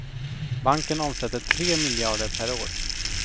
Banken omsätter tre miljarder per år.